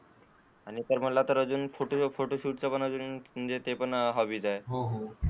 आणि मला अजून ते फोटोशुट चे पणहॉबी.